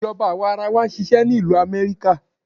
Ìjọba àwarawa ń ṣisẹ́ ni ìlú Amẹ́ríkà.